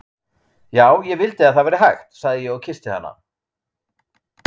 Já, ég vildi að það væri hægt, sagði ég og kyssti hana.